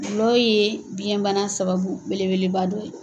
Gulɔ ye biyɛnbana sababu bele beleba dɔ ye.